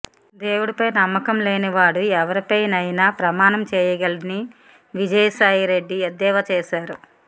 దేవుడిపై నమ్మకం లేనివాడు ఎవరిపై అయినా ప్రమాణం చేయగలడని విజయసాయి రెడ్డి ఎద్దేవా చేశారు